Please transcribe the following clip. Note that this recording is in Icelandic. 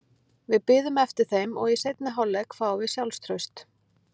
Við biðum eftir þeim og í seinni hálfleik fáum við sjálfstraust.